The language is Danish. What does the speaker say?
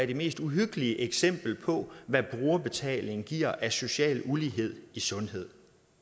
det mest uhyggelige eksempel på hvad brugerbetaling giver af social ulighed i sundhed